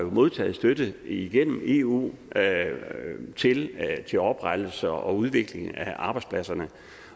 modtaget støtte igennem eu til til oprettelse og udvikling af arbejdspladserne